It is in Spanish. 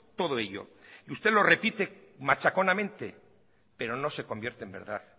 todo ello y usted lo repite machaconamente pero no se convierte en verdad